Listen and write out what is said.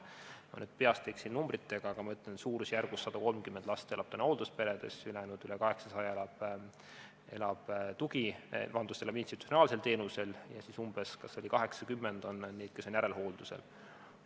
Ma nüüd peast öeldes võib-olla eksin numbritega, aga ma ütlen, et suurusjärgus 130 last elab hooldusperes, ülejäänud üle 800 on institutsionaalsel teenusel ja umbes 80 on neid, kes on järelhooldusel.